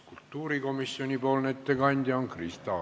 Kultuurikomisjoni ettekandja on Krista Aru.